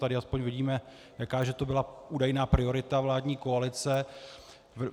Tady aspoň vidíme, jaká že to byla údajná priorita vládní koalice.